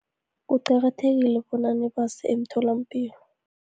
Kuqakathekile bona nibase emtholapilo.